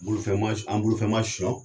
Bolo fɛn ma an bolo fɛn ma sɔn